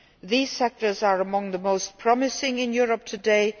These sectors are among the most promising in Europe today.